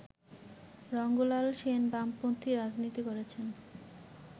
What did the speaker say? রঙ্গলাল সেন বামপন্থী রাজনীতি করেছেন